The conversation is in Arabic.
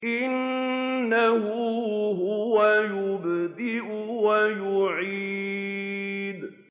إِنَّهُ هُوَ يُبْدِئُ وَيُعِيدُ